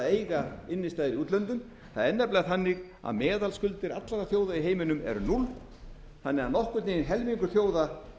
eiga innistæður í útlöndum það er nefnilega þannig að meðalskuldir allra þjóða í heiminum eru núll þannig að nokkurn veginn helmingur þjóða